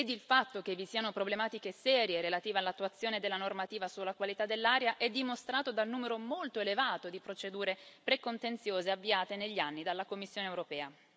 Il fatto che vi siano problematiche serie relativa all'attuazione della normativa sulla qualità dell'aria è dimostrato dal numero molto elevato di procedure precontenziose avviate negli anni dalla Commissione europea.